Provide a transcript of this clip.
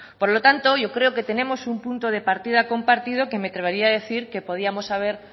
por lo tanto yo creo que tenemos un punto de partida compartido que me atrevería a decir que podíamos haber